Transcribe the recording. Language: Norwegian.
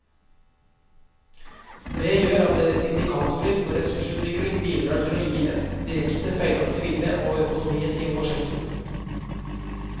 Det gjør at deres indikatorer for ressursutviklingen bidrar til å gi et direkte feilaktig bilde av økonomien i vår sektor.